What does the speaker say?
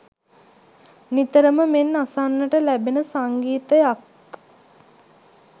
නිතරම මෙන් අසන්නට ලැබෙන සංගීතයක්